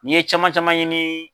N'i ye caman caman ɲini